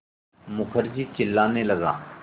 मुखर्जी चिल्लाने लगा